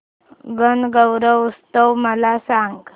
गणगौर उत्सव मला सांग